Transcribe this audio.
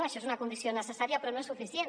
això és una condició necessària però no és suficient